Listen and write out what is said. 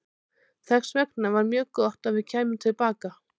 Þess vegna var mjög gott að við kæmum til baka.